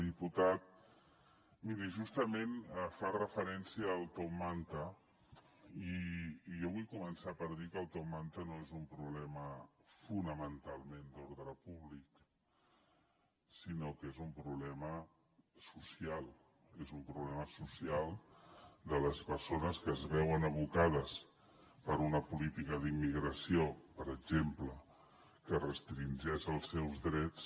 diputat miri justament fa referència al top manta i jo vull començar per dir que el top manta no és un problema fonamentalment d’ordre públic sinó que és un problema social és un problema social de les persones que es veuen abocades per una política d’immigració per exemple que restringeix els seus drets